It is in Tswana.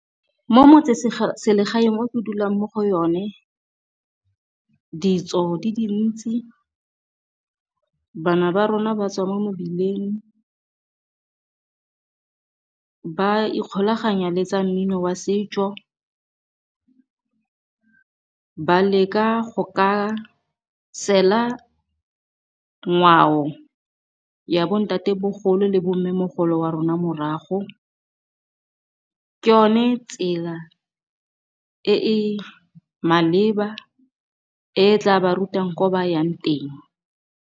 Mo metsesegaeng o ke dulang mo go yone, ditso di dintsi bana ba rona ba tswa mo mebileng ba ikgolaganya le tsa mmino wa setso. Ba leka go ka sela ngwao ya bo ntate bogolo le bo mmemogolo, wa rona morago. Ke yone tsela e e maleba e tla ba rutang ko ba yang teng.